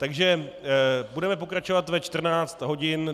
Takže budeme pokračovat ve 14 hodin.